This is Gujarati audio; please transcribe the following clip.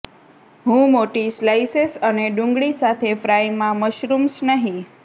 હું મોટી સ્લાઇસેસ અને ડુંગળી સાથે ફ્રાય માં મશરૂમ્સ નહીં